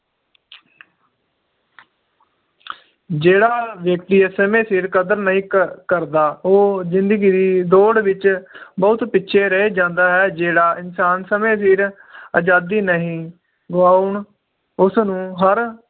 ਜਿਹੜਾ ਵ੍ਯਕ੍ਤਿ ਸਮੇ ਸਿਰ ਕਦਰ ਨਹੀਂ ਕਰ ਕਰਦਾ ਉਹ ਜਿੰਦਗੀ ਦੀ ਦੌੜ ਵਿਚ ਬਹੁਤ ਪਿਛੇ ਰਹਿ ਜਾਂਦਾ ਹੈ ਜਿਹੜਾ ਇਨਸਾਨ ਸਮੇ ਸਿਰ ਅਜਾਦੀ ਨਹੀਂ ਗਵਾਉਣ ਉਸ ਨੂੰ ਹਰ